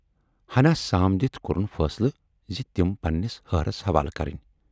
ہنا سام دِتھ کورُن فٲصلہٕ زِ تِم پنہٕ نِس ۂہرس حوالہٕ کرٕنۍ۔